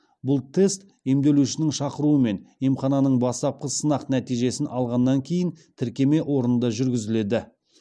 бұл тест емделушінің шақыруымен емхананың бастапқы сынақ нәтижесін алғаннан кейін тіркеме орнында жүргізіледі